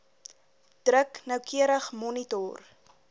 druk noukeurig gemonitor